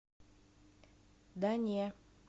да не